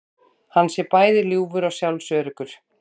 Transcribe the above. Hann sé bæði ljúfur og sjálfsöruggur